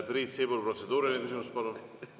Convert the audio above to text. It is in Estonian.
Priit Sibul, protseduuriline küsimus, palun!